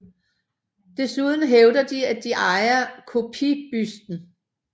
Desuden hævder de at de ejer kopibusten